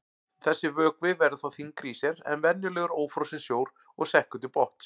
Þessi vökvi verður þá þyngri í sér en venjulegur ófrosinn sjór og sekkur til botns.